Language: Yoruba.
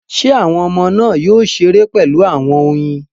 Ṣé àwọn ọmọ náà yóò ṣeré pẹ̀lú àwọn oyin?